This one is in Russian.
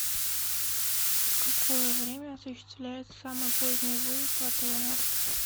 в какое время осуществляется самый поздний выезд в отеле